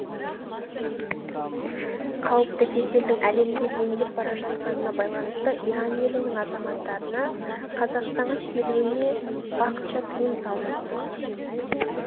қауіпті кеселдің әлемде дендеп бара жатқанына байланысты иран елінің азаматтарына қазақстанға келуіне уақытша тыйым салынбақ